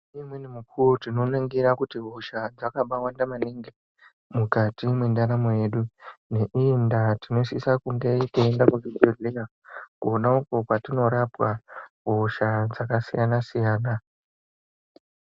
Ngeimweni mukuwo tinoningira kuti hosha dzakabawanda maningi mukati mwendaramu yedu ngeindaa tinosisa kunga teienda kuchibhehlera kona uko kwatinorapwa hosha dzakasiyana siyana.